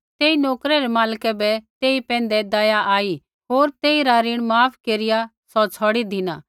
तेई नोकरै रै मालक बै तेई पैंधै दया आई होर तेइरा ऋण माफ केरिया सौ छ़ौड़ी धिना